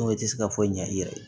tɛ se ka fɔ ɲɛ i yɛrɛ ye